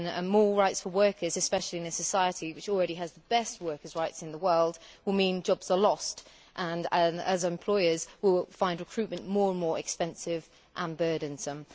More rights for workers, especially in a society which already has the best workers' rights in the world, will mean jobs are lost, as employers will find recruitment more and more expensive and burdensome.